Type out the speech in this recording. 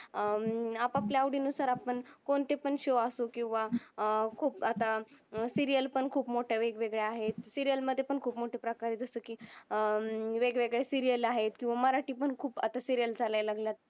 अह आप आपल्या आवडी अनुसार आपण कोणती पण शो अस किव्हा अह खूप अत्ता सीरियल पण खूप मोठी वेग वेगळ्या आहेत. सीरियल मधे पण खूप मोठे प्रकार आहे जस कि अह वेग वेगळे सेरियल आहेत. किव्हा मराटी पण खूप अत्ता सीरियल झालंय लागलात.